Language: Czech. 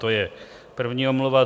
To je první omluva.